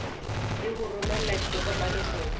le ho romela ditokomane ho